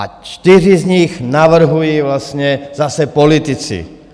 A čtyři z nich navrhuji vlastně zase politici.